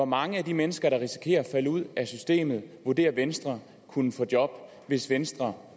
mange af de mennesker der risikerer at falde ud af systemet vurderer venstre kunne få job hvis venstre